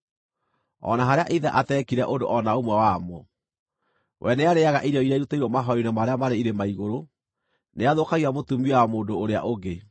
(o na harĩa ithe ateekire ũndũ o na ũmwe wa mo): “We nĩarĩĩaga irio iria irutĩirwo mahooero-inĩ marĩa marĩ irĩma-igũrũ. Nĩathũkagia mũtumia wa mũndũ ũrĩa ũngĩ.